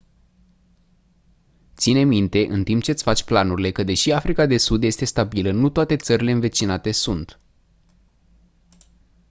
ține minte în timp ce îți faci planurile că deși africa de sud este stabilă nu toate țările învecinate sunt